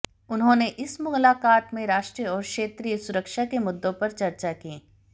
उन्होंने इस मुलाक़ात में राष्ट्रीय और क्षेत्रीय सुरक्षा के मुद्दों पर चर्चा की